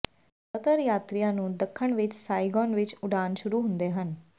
ਜ਼ਿਆਦਾਤਰ ਯਾਤਰੀਆਂ ਨੂੰ ਦੱਖਣ ਵਿਚ ਸਾਈਗੋਨ ਵਿਚ ਉਡਾਣ ਸ਼ੁਰੂ ਹੁੰਦੇ ਹਨ